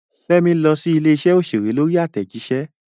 Fẹ́mi lọ sí ilé-iṣẹ́ òṣèré lórí àtẹ̀jíṣẹ́.